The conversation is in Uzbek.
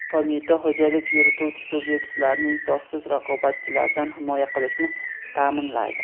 Qo‘mita xo‘jalik yurituvchi subyektlarni insofsiz raqobatchilardan himoya qilishni taʼminlaydi.